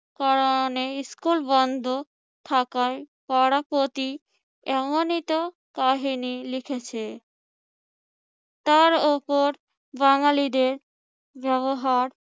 কারণে স্কুলে বন্ধ থাকায় পাড়া প্রতি এমনইতো কাহিনি লিখেছে। তার উপর বাঙালিদের ব্যবহার